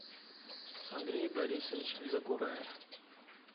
андрей борисович закураев